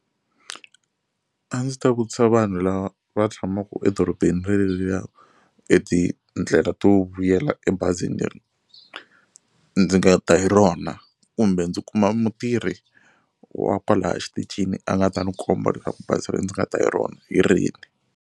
A ndzi ta vutisa vanhu lava va tshamaka edorobeni rereriya e tindlela to vuyela ebazini leri ndzi nga ta hi rona kumbe ndzi kuma mutirhi wa kwalaya exitichini a nga ta ni komba leswaku bazi ri ndzi nga ta hi rona hi rini.